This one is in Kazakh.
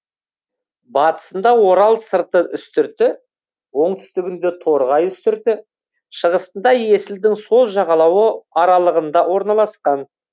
батысында орал сырты үстірті оңтүстігінде торғай үстірті шығысында есілдің сол жағалауы аралығында орналасқан